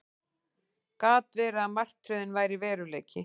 Gat verið að martröðin væri veruleiki?